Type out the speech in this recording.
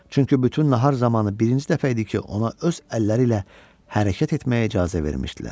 Çünki bütün nahar zamanı birinci dəfə idi ki, ona öz əlləri ilə hərəkət etməyə icazə vermişdilər.